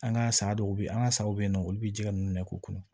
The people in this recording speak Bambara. An ka saga dɔw be yen an ga saw be yen nɔ olu be ji nunnu de k'u kɔnɔ